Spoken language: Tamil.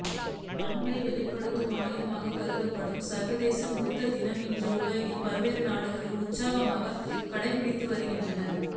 அன்பை வெளிப்படுத்தும் ஆயுதமாக கருதப்படும் சா்வதேச முத்த தினம் இன்று உலகின் பல்வேறு நாடுகளிலும் உற்சாகமாக கடைபிடிக்கப்படுகிறது